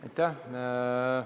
Aitäh!